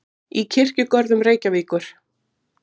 í Kirkjugörðum Reykjavíkur.